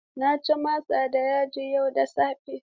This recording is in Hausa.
Na ci masa da yaji yau da safe.